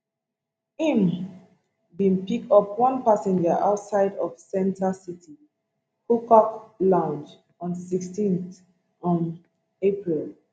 im bin pick up one passenger outside of center city hookah lounge on sixteen um april